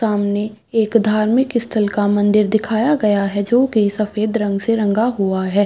सामने एक धर्मिक स्थल का मंदिर दिखाया गया है जो की सफ़ेद रंग से रंगा हुआ है।